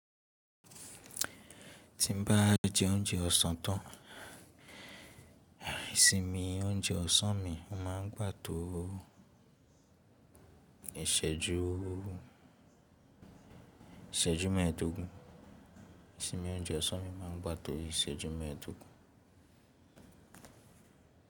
Ti n ba je ounjẹ ọsan tan, isimi ounjẹ ọ̀sán mi ó ma n gbà isejuìsẹ́jú mẹẹdogun. Isinmi óunjẹ ọsan mi ma n gba to isẹju mẹdogun.